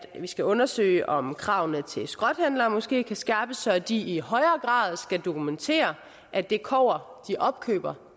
skal undersøge om kravene til skrothandlere måske kan skærpes så de i højere grad skal dokumentere at det kobber de opkøber